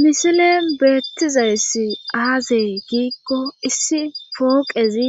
Misile beettizayssi aazey giikko issi fooqezi